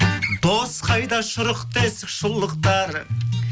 дос қайда шұрық тесік шұлықтары